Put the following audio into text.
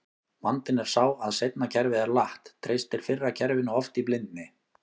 Vandinn er sá að seinna kerfið er latt, treystir fyrra kerfinu oft í blindni.